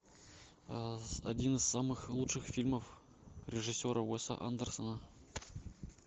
один из самых лучших фильмов режиссера уэса андерсона